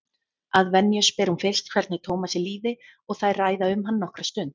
Að venju spyr hún fyrst hvernig Tómasi líði og þær ræða um hann nokkra stund.